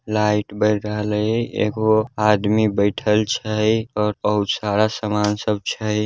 Light बार रहलै | एगो आदमी बइठल छै और बहुत सारा समन सब छै ।